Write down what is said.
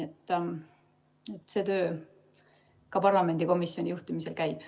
Ka see töö parlamendikomisjoni juhtimisel käib.